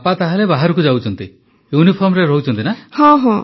ବାପା ତାହେଲେ ବାହାରକୁ ଯାଉଛନ୍ତି ୟୁନିଫର୍ମରେ ରହୁଛନ୍ତି